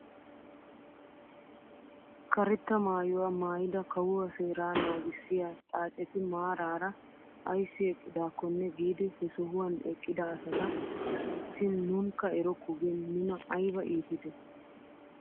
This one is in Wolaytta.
karetta maayuwaa maayida kawuwaa seeraa nagissiyaa xaacetti maarara ayssi eqqidaakonne giidi he sohuwaan eqqida asata oychchin nunkka erokko gin nuna ayba iitidee!